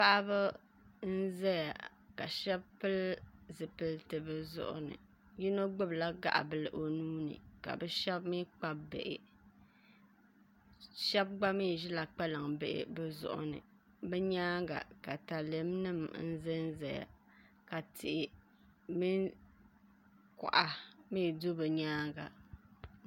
paɣiba n-zaya ka shɛba pili zipiliti bɛ zuɣu ni yino gbubila gaɣi' bila o nuu ni ka shɛba mi kpabi bihi shɛba gba mi ʒila kpalambihi bɛ zuɣu ni bɛ nyaaŋga takalɛmnima n-zanzaya ka tihi mini kɔɣa mi do bɛ nyaaŋga